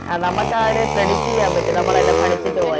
ആ നമ്മക്ക ഒര് Predict ചെയ്യാൻ പറ്റും നമ്മളെല്ലാം എല്ലാം പഠിച്ചിട്ട് പോയ